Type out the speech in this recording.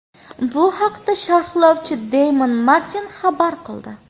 Bu haqda sharhlovchi Deymon Martin xabar qildi .